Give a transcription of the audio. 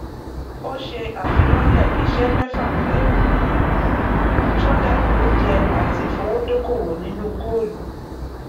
ó ṣe àfilọlẹ iṣẹ mẹfà pẹlú sódà oúnjẹ àti ìfowódókòwò nínú goolu